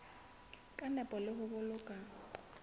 ka nepo le ho boloka